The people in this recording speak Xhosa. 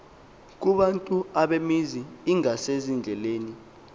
kubantu abamizi ingasezindleleni